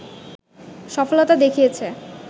সফলতা দেখিয়েছে